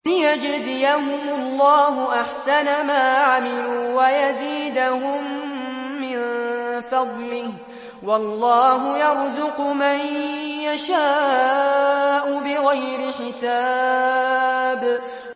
لِيَجْزِيَهُمُ اللَّهُ أَحْسَنَ مَا عَمِلُوا وَيَزِيدَهُم مِّن فَضْلِهِ ۗ وَاللَّهُ يَرْزُقُ مَن يَشَاءُ بِغَيْرِ حِسَابٍ